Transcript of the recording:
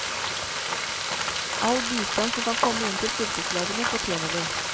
All bistand som kan komme inn til fylkeslagene fortjener de.